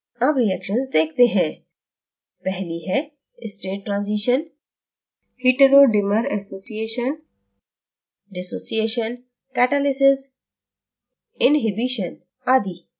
अब reactions देखते हैं पहली है state transition heterodimer association dissociation catalysis inhibition आदि